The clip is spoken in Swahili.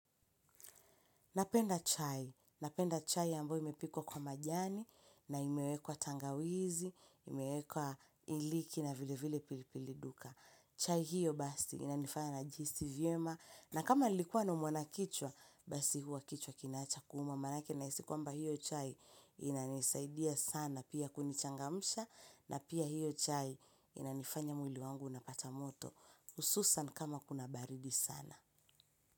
Napenda chai. Napenda chai ambayo imepikwa kwa majani na imewekwa tangawizi, imewekwa iliki na vile vile pilipili duka. Chai hiyo basi inanifanya na jihisi vyema na kama nilikuwa naumwa na kichwa, basi huwa kichwa kinaacha kuuma. Manake nahisi kwamba hiyo chai inanisaidia sana pia kunichangamsha na pia hiyo chai inanifanya mwili wangu unapata moto. Ususan kama kuna baridi sana.